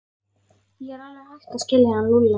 Ég er alveg hætt að skilja hann Lúlla.